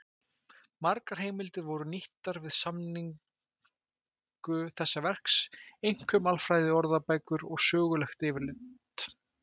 Margar heimildir voru nýttar við samningu þessa verks, einkum alfræðiorðabækur og söguleg yfirlitsrit.